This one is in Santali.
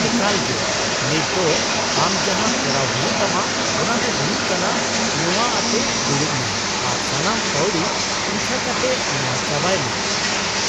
-ᱮᱠᱟᱞᱜᱮ! ᱱᱤᱛ ᱫᱚ ᱟᱢ ᱡᱟᱦᱟᱸ ᱠᱚᱨᱟᱣ ᱦᱩᱭᱩᱜ ᱛᱟᱢᱟ ᱚᱱᱟ ᱫᱚ ᱦᱩᱭᱩᱜ ᱠᱟᱱᱟ ᱱᱚᱶᱟ ᱟᱛᱮ ᱫᱩᱲᱩᱵ ᱢᱮ ᱟᱨ ᱥᱟᱱᱟᱢ ᱯᱟᱣᱲᱤ ᱯᱤᱪᱷᱟᱹ ᱠᱟᱛᱮ ᱱᱚᱶᱟ ᱪᱟᱵᱟᱭ ᱢᱮ ᱾